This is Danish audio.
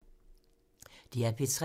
DR P3